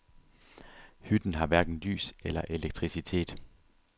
Hytten har hverken lys eller elektricitet.